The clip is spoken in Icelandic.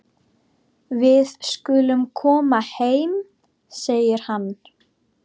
Við skulum koma heim, segir hann.